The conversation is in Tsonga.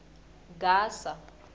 gasa